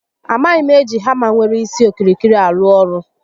A maghị m eji hama nwere isi okirikiri arụ ọrụ